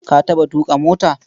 Ka taɓa tuƙa mota?